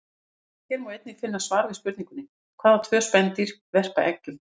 Hér er einnig að finna svar við spurningunni: Hvaða tvö spendýr verpa eggjum?